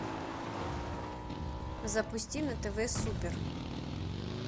запусти на тв супер